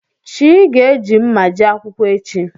Chi gá eji mma jee akwụkwọ echi.